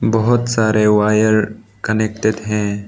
बहोत सारे wire connected हैं।